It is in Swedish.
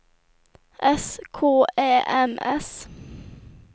S K Ä M S